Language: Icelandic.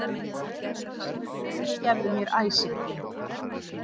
Fyrirgefðu mér æsinginn.